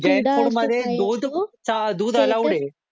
Jain food मध्ये दूध दूध अलाऊड आहे